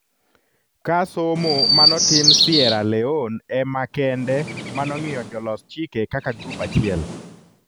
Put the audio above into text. Ka somo manotim Sierra Leone emakende manong'iyo jolos chike kaka grup achiel